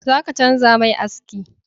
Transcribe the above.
Zaka canja mai aski